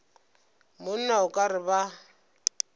monna o ka re ba